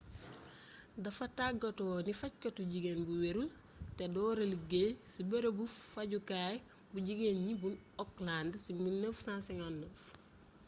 dafa tàggatu ne fajkatu jigéen bu werul te dóora liggéey ci bërëbu fajukaay bu jigéen ñi bu auckland ci 1959